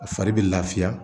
A fari bɛ lafiya